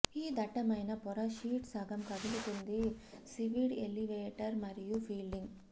ఈ దట్టమైన పొర షీట్ సగం కదులుతుంది సీవీడ్ ఎలివేటర్ మరియు ఫిల్లింగ్